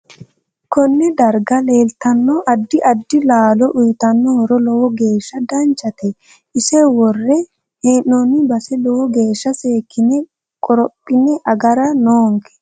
Konne darga leeltanno addi addi laalo uyiitanno horo lowo geesha danchate ise worre heenooni base lowo geesha seekine qorophine agara noonke